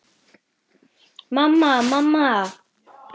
Mamma, mamma.